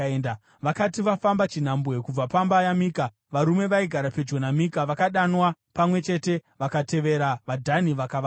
Vakati vafamba chinhambwe kubva pamba yaMika varume vaigara pedyo naMika vakadanwa pamwe chete vakatevera vaDhani vakavabata.